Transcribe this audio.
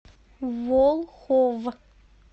волхов